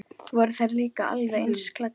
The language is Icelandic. Voru þær líka alveg eins klæddar?